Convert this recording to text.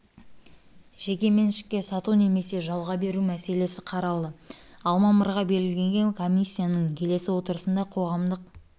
жеке меншікке сату немесе жалға беру мәселесі қаралды ал мамырға белгіленген комиссияның келесі отырысында қоғамдық